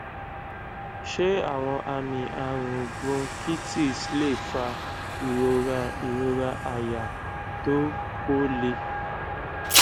ṣé àwọn àmì àrùn bronchitis lè fa ìrora ìrora àyà tó ko le